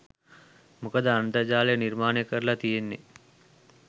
මොකද අන්තර්ජාලය නිර්මාණය කරලා තියෙන්නේ